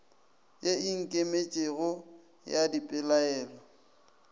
ye e ikemetšego ya dipelaelo